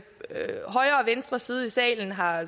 venstre side i salen har